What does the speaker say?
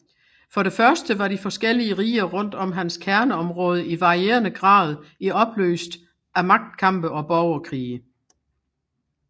For det første var de forskellige riger rundt om hans kerneområde i varierende grad i opløst af magtkampe og borgerkrige